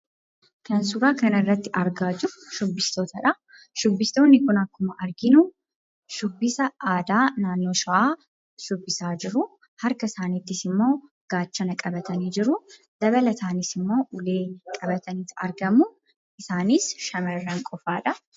Kan suuraa kanarratti argaa jirru shubbistootadha. Shubbistoonni kun akkuma arginu shubbisa aadaa naannoo Shawaa shubbisaa jiru. Harka isaaniittis immoo gaachana qabatanii jiru. Dabalataanis immoo, ulee qabatanii argamu. Isaanis shamarran qofaa dha.